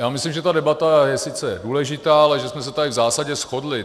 Já myslím, že ta debata je sice důležitá, ale že jsme se tady v zásadě shodli.